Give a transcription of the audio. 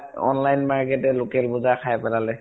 online market এ local বজাৰ খাই পেলালে।